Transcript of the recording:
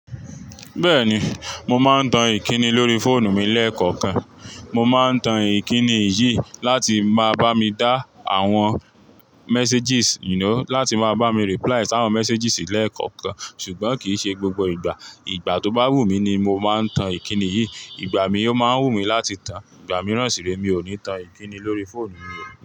Bẹ́ẹ̀ni, mo máa ń tan Ìkíni lórí fóònù mi lẹ́ẹ̀kọ̀kan. Mo máa ń tan Ìkíni yìí láti máa bá mi dá àwọn messages, you know, láti máa bá mi reply àwọn messages lẹ́ẹ̀kọ̀kan. Ṣùgbọ́n kì í ṣe gbogbo ìgbà. Ìgbà tó bá wù mí ni mo máa ń tan Ìkíni yìí. Ìgbà mí ò máa ń wù mí láti tan, ìgbà mìíràn sì rẹ mi ò ní tan Ìkíni lórí fóònù mi rí.